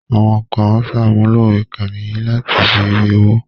Àwọn kan ń sàmúlò ìkànnì yìí láti fi rí owó